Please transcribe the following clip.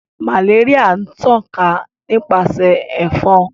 Malaria n tan ka nipasẹ efon.